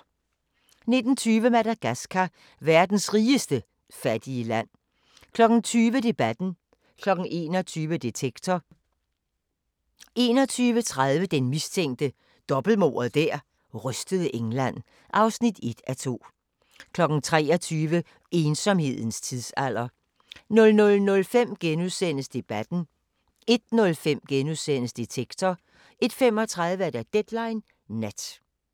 19:20: Madagascar – verdens rigeste fattige land 20:00: Debatten 21:00: Detektor 21:30: Den mistænke – dobbeltmordet der rystede England (1:2) 23:00: Ensomhedens tidsalder 00:05: Debatten * 01:05: Detektor * 01:35: Deadline Nat